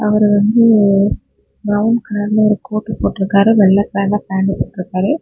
இவர் வந்து பிரவுன் கலர்ல கோட் போட்டு இருக்காரு வெள்ளை கலர்ல பேன்ட் போட்டு இருக்காரு.